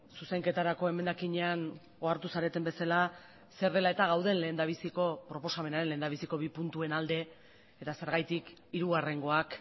zuzenketarako emendakinean ohartu zareten bezala zer dela eta gauden lehendabiziko proposamenaren lehendabiziko bi puntuen alde eta zergatik hirugarrengoak